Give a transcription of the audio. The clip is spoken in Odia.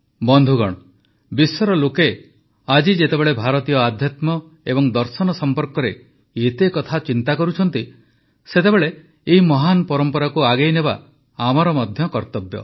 ବନ୍ଧୁଗଣ ବିଶ୍ୱର ଲୋକେ ଆଜି ଯେତେବେଳେ ଭାରତୀୟ ଆଧ୍ୟାତ୍ମ ଏବଂ ଦର୍ଶନ ସମ୍ପର୍କରେ ଏତେ କଥା ଚିନ୍ତା କରୁଛନ୍ତି ସେତେବେଳେ ଏହି ମହାନ ପରମ୍ପରାକୁ ଆଗେଇ ନେବା ଆମର ମଧ୍ୟ କର୍ତ୍ତବ୍ୟ